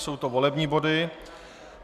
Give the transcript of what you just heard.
Jsou to volební body.